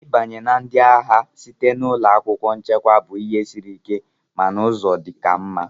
Ịbanye na ndị agha site na ụlọ akwụkwọ nchekwa bụ ihe siri ike mana ụzọ ka mma.